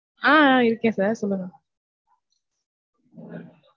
ஆஹ் ஆஹ் இருக்கேன் sir. சொல்லுங்க.